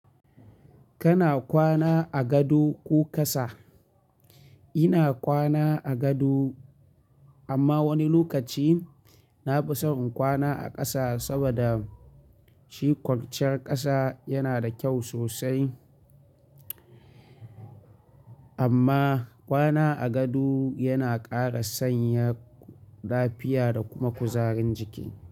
Kana kwana a gado ko ƙasa? Ina kwana a gado amma wani lokaci na fi son in kwana a ƙasa saboda shi kwanciyar ƙasa yana da kyau sosai. Amma kwana a gado yana ƙara sanya lafiya da kuma kuzarin jiki.